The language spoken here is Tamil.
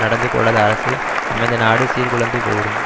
நடந்து கொள்ளாத அரசு அமைந்த நாடு சீர்குலைந்து போய்விடும்